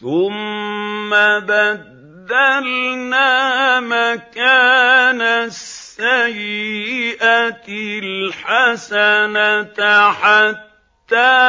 ثُمَّ بَدَّلْنَا مَكَانَ السَّيِّئَةِ الْحَسَنَةَ حَتَّىٰ